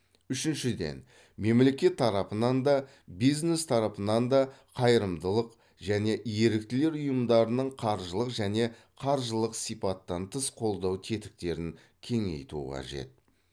үшіншіден мемлекет тарапынан да бизнес тарапынан да қайырымдылық және еріктілер ұйымдарының қаржылық және қаржылық сипаттан тыс қолдау тетіктерін кеңейту қажет